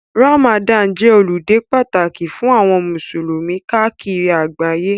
Ramadani jẹ́ ọludé pàtàkì fún àwọn musulumi káàkiri àgbáyé.